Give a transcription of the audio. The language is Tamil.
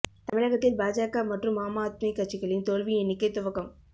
தமிழகத்தில் பாஜக மற்றும் ஆம் ஆத்மி கட்சிகளின் தோல்வி எண்ணிக்கை துவக்கம்